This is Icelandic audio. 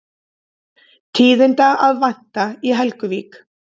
Tíðinda að vænta í Helguvík